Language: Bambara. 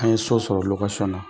An ye so sɔrɔ na.